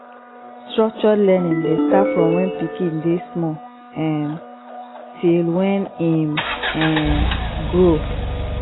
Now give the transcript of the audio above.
structured learning de start from when pikin de small um till when im um grow